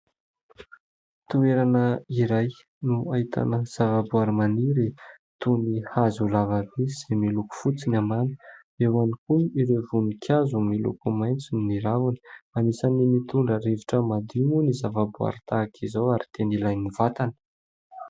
Toerana iray no ahitana zavaboaary maniry toy ny hazo lavabe izay miloko fotsy ny ambany. Eo ihany koa ireo voninkazo miloko maitso ny raviny. Anisan'ny mitondra rivotra madio moa ny zavaboaary tahaka izao ary tena ilain'ny vatana.